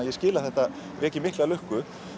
ég skil að þetta veki mikla lukku